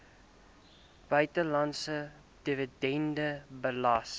buitelandse dividende belas